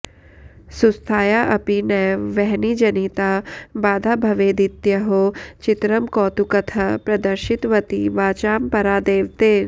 सुस्थाया अपि नैव वह्निजनिता बाधा भवेदित्यहो चित्रं कौतुकतः प्रदर्शितवती वाचां परा देवते